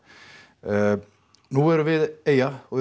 nú erum við eyja og